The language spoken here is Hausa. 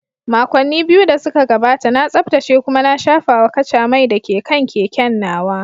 Makonni biyu da suka gabata, na tsaftace kuma na shafawa kaca mai da ke kan keken nawa.